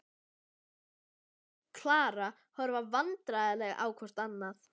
Svenni og Klara horfa vandræðaleg hvort á annað.